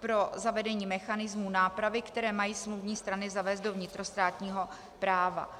pro zavedení mechanismů nápravy, které mají smluvní strany zavést do vnitrostátního práva.